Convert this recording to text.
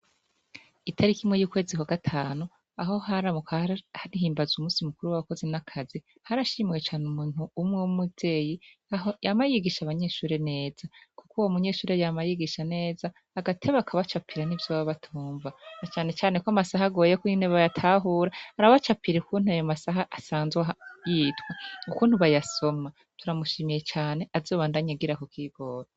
Itariki imwe yukwezi kwagatanu aho bahimbaza umusi mukuru wabakozi nakazi harashimiwe cane umuntu umwuvyeyi yama yigisha abanyeshure neza kuko uwo munyeshure arabigisha neza agateba akabacapira nivyo baba batumva na cane cane kwamasaha agoye ko bayatahura barabacapira ukuntu ayo masaha asanzwe yitwa ukuntu bayasoma turamushimiye cane azobandanye agira ako kigoro